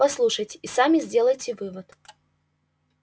послушайте и сами сделайте вывод